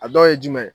A dɔw ye jumɛn ye